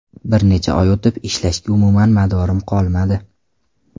Bir necha oy o‘tib ishlashga umuman madorim qolmadi.